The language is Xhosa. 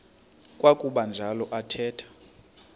kwakuba njalo athetha